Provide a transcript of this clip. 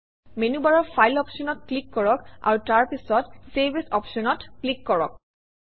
মেনুবাৰৰ ফাইল অপশ্যনত ক্লিক কৰক আৰু তাৰপিছত চেভ এএছ অপশ্যনত ক্লিক কৰক